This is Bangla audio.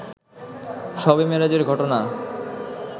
শবে মেরাজ এর ঘটনা